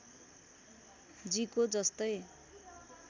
जी को जस्तै